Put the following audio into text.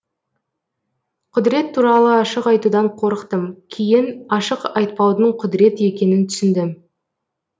құдірет туралы ашық айтудан қорықтым кейін ашық айтпаудың құдірет екенін түсіндім